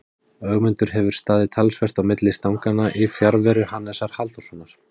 Ögmundur hefur staðið talsvert á milli stanganna í fjarveru Hannesar Halldórssonar.